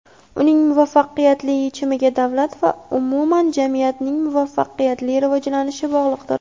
uning muvaffaqiyatli yechimiga davlat va umuman jamiyatning muvaffaqiyatli rivojlanishi bog‘liqdir.